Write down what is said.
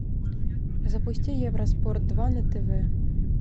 запусти евроспорт два на тв